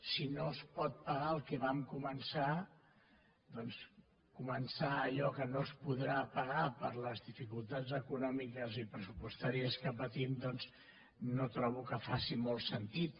si no es pot pagar el que vam començar doncs començar allò que no es podrà pagar per les dificultats econòmiques i pressu·postàries que patim no trobo que faci molt sentit